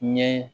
Ɲɛ